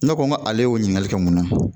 Ne ko n ko ale y'o ɲininkali kɛ mun na